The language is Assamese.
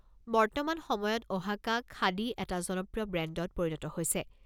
বৰ্তমান সময়ত অহাকা খাদী এটা জনপ্ৰিয় ব্ৰেণ্ডত পৰিণত হৈছে।